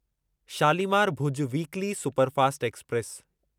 Shalimar Bhuj weekly superfast express